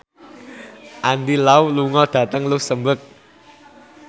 Andy Lau lunga dhateng luxemburg